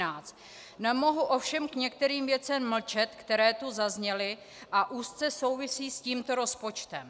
Nemohu ovšem k některým věcem mlčet, které tu zazněly a úzce souvisí s tímto rozpočtem.